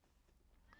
DR K